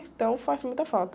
Então faz muita falta.